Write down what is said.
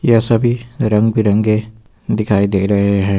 यह सभी रंग बिरंगे दिखाई दे रहे हैं।